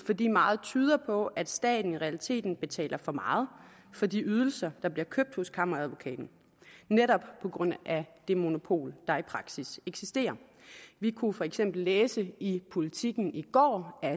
fordi meget tyder på at staten i realiteten betaler for meget for de ydelser der bliver købt hos kammeradvokaten netop på grund af det monopol der i praksis eksisterer vi kunne for eksempel læse i politiken i går at